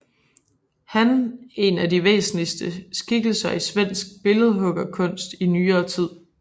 Han én af de væsentligste skikkelser i svensk billedhuggerkunst i nyere tid